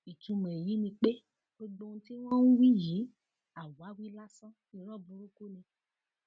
ìtumọ èyí ni pé gbogbo ohun tí wọn ń wí yìí àwáwí lásán irọ burúkú ni